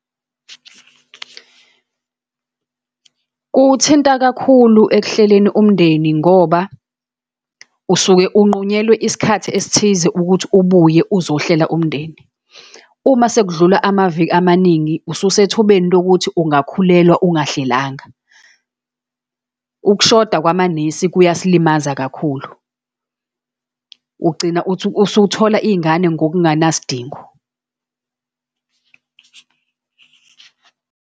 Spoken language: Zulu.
Kuwuthinta kakhulu ekuhleleni umndeni, ngoba usuke uqhunyelwe isikhathi esithize ukuthi ubuye uzohlela umndeni. Uma sekudlula amaviki amaningi, ususethubeni lokuthi ungakhulelwa ungahlalanga. Ukushoda kwamanesi, kuyasilimaza kakhulu. Ugcina usuthola iy'ngane ngokunganasidingo.